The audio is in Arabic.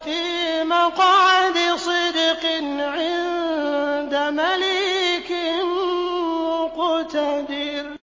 فِي مَقْعَدِ صِدْقٍ عِندَ مَلِيكٍ مُّقْتَدِرٍ